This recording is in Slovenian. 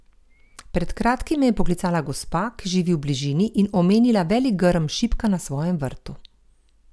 Pred kratkim me je poklicala gospa, ki živi v bližini, in omenila velik grm šipka na svojem vrtu.